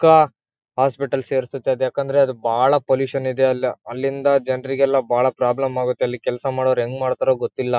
ಕ ಹಾಸ್ಪಿಟಲ್ಸ್ ಸೇರ್ಸುತ್ತೆ ಅದು ಏಕೆಂದರೆ ಅದು ಬಾಳ ಪೊಲ್ಯೂಷನ್ ಇದೆ ಅಲ್ಲಿ ಅಲ್ಲಿಂದ ಜನರಿಗೆ ಎಲ್ಲ ಬಹಳ ಪ್ರಾಬ್ಲಮ್ ಆಗುತ್ತೆ ಅಲ್ಲಿ ಕೆಲಸ ಮಾಡೋರು ಹೆಂಗೆ ಮಾಡ್ತಾರೋ ಗೊತ್ತಿಲ್ಲ.